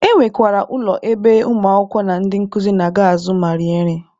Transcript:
E nwekwara ụlọ ebe ụmụ akwụkwọ na ndị nkuzi na-aga azụ ma rie nri.